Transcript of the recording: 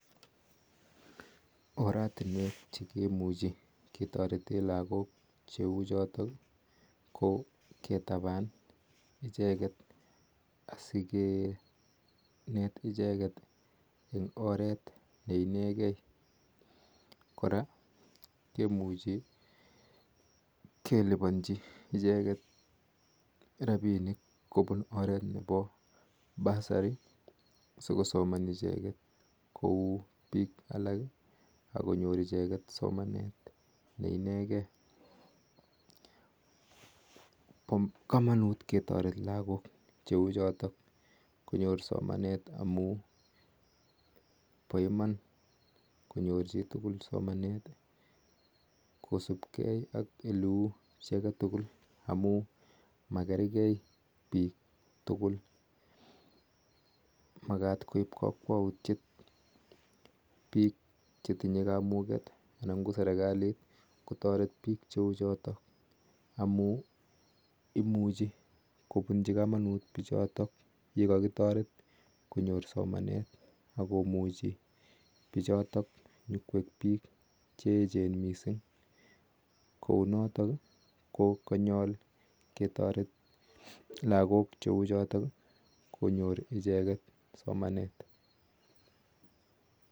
Oratunweek chekimuchii lagook cheuu chotok kitabani asikineet ichegeii koraa komuchi kelibannji rapisheek eng oret ap bursary pa iman konyor chitugul somaneet amun makergeii piik tugul imuchiii pichotok koeek kandoiik chekararan missing makat konyor somaneet ichekeet missing